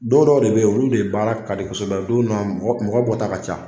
Dɔn dɔw de bɛ yen olu de baara kadi kosɛbɛ, don dow mɔgɔ bɔta ka ca.